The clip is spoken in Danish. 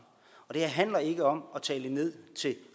og det her handler ikke om at tale ned til